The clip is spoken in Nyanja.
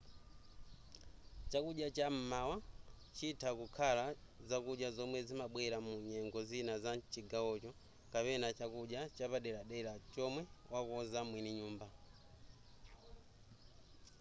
chakudya cham'mawa chitha kukhala zakudya zomwe zimabwera mu nyengo zina za mchigawocho kapena chakudya chapaderadera chomwe wakonza mwini nyumba